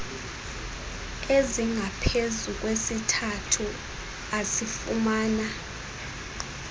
ezingaphezu kwesithathu asifumana